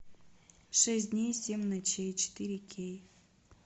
шесть дней семь ночей четыре кей